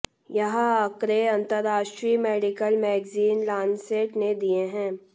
यह आंकड़े अंतर्राष्ट्रीय मेडिकल मैगज़ीन लानसेट ने दिए हैं